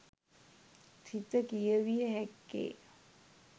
සිත කියවිය හැක්කේ